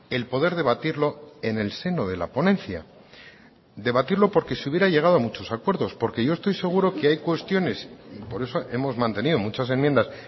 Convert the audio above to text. el poder debatirlo en el seno de la ponencia debatirlo porque se hubiera llegado a muchos acuerdos porque yo estoy seguro que hay cuestiones por eso hemos mantenido muchas enmiendas